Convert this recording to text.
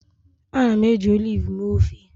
Ana m eji oliv mee ofe